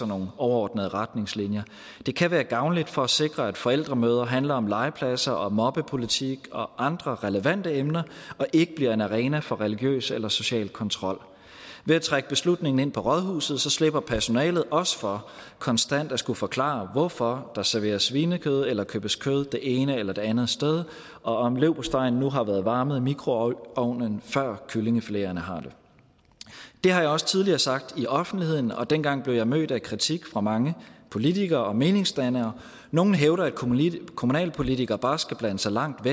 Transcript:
nogle overordnede retningslinjer det kan være gavnligt for at sikre at forældremøder handler om legepladser og mobbepolitik og andre relevante emner og ikke bliver en arena for religiøs eller social kontrol ved at trække beslutningen ind på rådhuset slipper personalet også for konstant at skulle forklare hvorfor der serveres svinekød eller købes kød det ene eller det andet sted og om leverpostejen har været varmet i mikroovnen før kyllingefileterne har det det har jeg også tidligere sagt i offentligheden og dengang blev jeg mødt af kritik fra mange politikere og meningsdannere nogle hævder at kommunalpolitikere bare skal blande sig langt